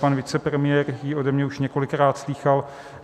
Pan vicepremiér ji ode mě už několikrát slýchal.